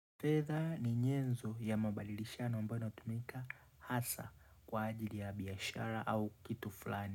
Fedha ni nyenzo ya mabadilishano ambayo inatumika hasa kwa ajili ya biashara au kitu fulani.